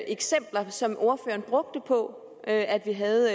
eksempler som ordføreren brugte på at at vi havde